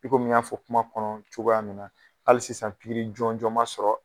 I ko min n y'a fɔ kuma kɔnɔ cogoya min na, hali sisan pikiri jɔnjɔn ma sɔrɔ